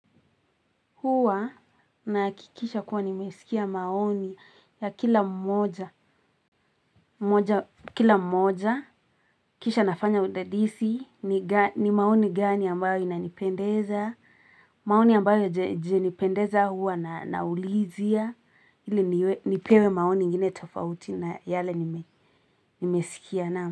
Huwa nahakikisha kuwa nimesikia maoni ya kila mmoja mmoja, kila mmoja, kisha nafanya udadisi, ni maoni gani ambayo inanipendeza, maoni ambayo haijanipendeza huwa naulizia ili nipewe maoni ingine tofauti na yale nimesikia.